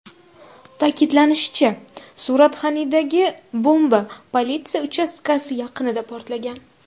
Ta’kidlanishicha, Suratxanidagi bomba politsiya uchastkasi yaqinida portlagan.